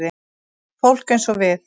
Fólk eins og við.